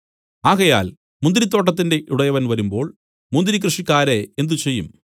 ആകയാൽ മുന്തിരിത്തോട്ടത്തിന്റെ ഉടയവൻ വരുമ്പോൾ മുന്തിരി കൃഷിക്കാരെ എന്ത് ചെയ്യും